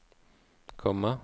komma